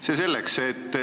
See selleks.